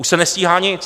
Už se nestíhá nic.